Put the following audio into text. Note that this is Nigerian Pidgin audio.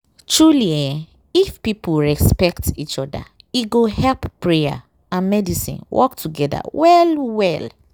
truely eeh if people respect each oda e go help prayer and medicine work togeda well well.